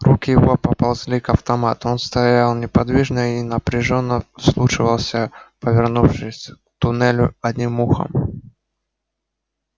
руки его поползли к автомату он стоял неподвижно и напряжённо вслушивался повернувшись туннелю одним ухом